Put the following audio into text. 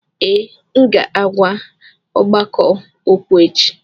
Ee, m ga-agwa ọgbakọ okwu echi